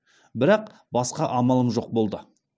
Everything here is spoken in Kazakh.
бірақ басқа амалым жоқ болды